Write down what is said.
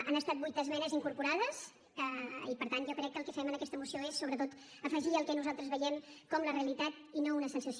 han estat vuit esmenes incorporades i per tant jo crec que el que fem en aquesta moció és sobretot afegir el que nosaltres veiem com la realitat i no una sensació